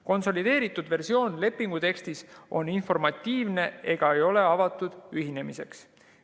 Konsolideeritud versioon lepingu tekstist on informatiivne ega ole avatud ühinemiseks.